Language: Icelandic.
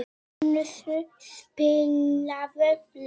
Marísól, spilaðu lag.